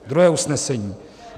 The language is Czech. Druhé usnesení.